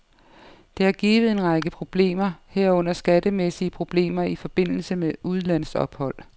Det har givet en række problemer, herunder skattemæssige problemer i forbindelse med udlandsophold.